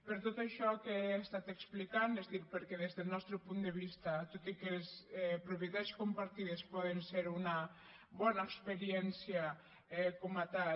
per tot això que he estat explicant és a dir perquè des del nostre punt de vista tot i que les propietats compartides poden ser una bona experiència com a tal